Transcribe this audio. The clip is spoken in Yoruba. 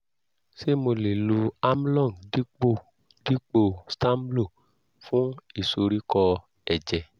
ṣé mo lè lo amlong dípò dípò stamlo fún ìsoríkọ́ ẹ̀jẹ̀?